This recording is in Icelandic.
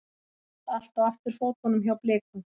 Allt á afturfótunum hjá Blikum